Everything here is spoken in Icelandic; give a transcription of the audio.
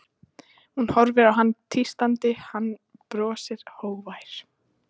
Hún horfir á hann tístandi, hann brosir, hógvær.